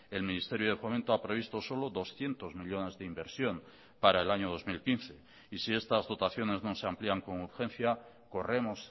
el ministerio de fomento ha previsto solo doscientos millónes de inversión para el año dos mil quince y si estas dotaciones no se amplían con urgencia corremos